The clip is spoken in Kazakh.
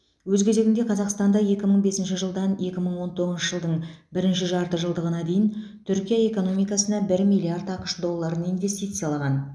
өз кезегінде қазақстан да екі мың бесінші жылдан екі мың он тоғызыншы жылдың бірінші жарты жылдығына дейін түркия экономикасына бір миллиард ақш долларын инвестициялаған